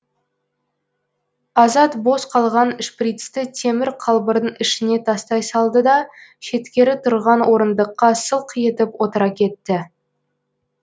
азат бос қалған шприцті темір қалбырдың ішіне тастай салды да шеткері тұрған орындыққа сылқ етіп отыра кетті